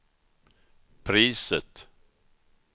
priset